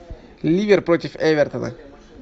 ливер против эвертона